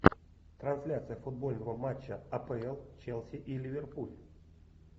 трансляция футбольного матча апл челси и ливерпуль